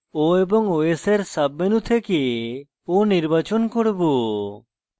o এবং os এর sub menu থেকে o নির্বাচন করব